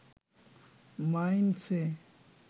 মাইনষে